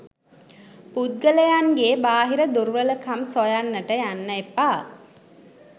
පුද්ගලයන්ගේ බාහිර දුර්වලකම් සොයන්නට යන්න එපා.